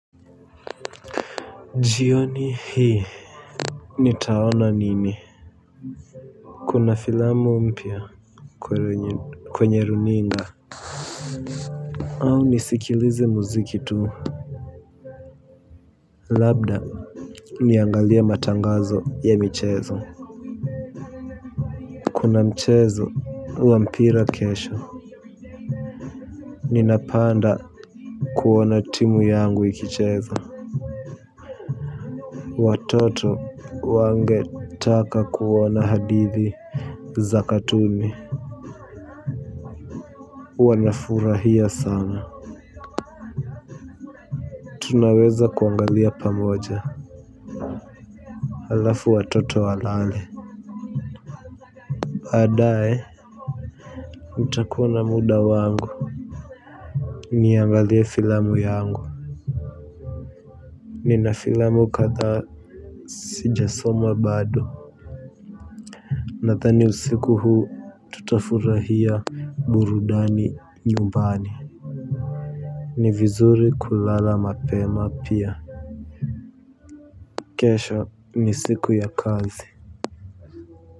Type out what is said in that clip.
Jioni hii nitaona nini. Kuna filamu mpya kwenye runinga. Au nisikilize muziki tu. Labda niangalie matangazo ya mchezo. Kuna mchezo wa mpira kesho. Ninapanda kuona timu yangu ikicheza. Watoto wangetaka kuona hadithi za katumi. Wanafurahia sana tunaweza kuangalia pamoja halafu watoto walale baadaye nitakuwa na muda wangu niangalie filamu yangu nina fiilamu kadhaa sijasoma bado nadhani usiku huu tutafurahia burudani nyumbani ni vizuri kulala mapema pia kesho ni siku ya kazi.